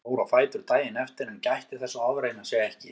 Hann fór á fætur daginn eftir en gætti þess að ofreyna sig ekki.